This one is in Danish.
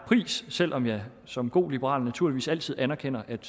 pris selv om jeg som god liberal naturligvis altid anerkender at